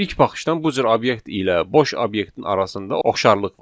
İlk baxışdan bu cür obyekt ilə boş obyektin arasında oxşarlıq var.